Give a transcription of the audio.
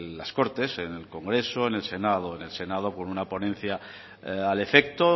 las cortes en el congreso en el senado en el senado con una ponencia al efecto